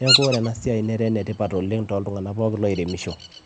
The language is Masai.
netaa ena siai ene tipat oleng